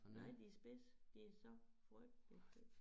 Nej de spidse de så frygtelig spidse